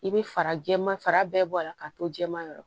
I bɛ fara jɛman fara bɛɛ bɔ a la k'a to jɛma yɔrɔ